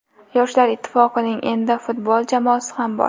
Yoshlar Ittifoqining endi futbol jamoasi ham bor.